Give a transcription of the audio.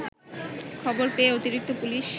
খবর পেয়ে অতিরিক্ত পুলিশ